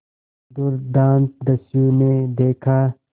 दुर्दांत दस्यु ने देखा